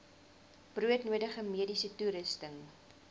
broodnodige mediese toerusting